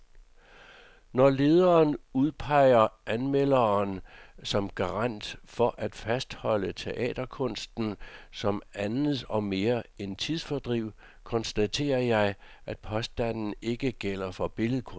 Når lederen udpeger anmelderen som garant for at fastholde teaterkunsten som andet og mere end tidsfordriv, konstaterer jeg, at påstanden ikke gælder for billedkunst.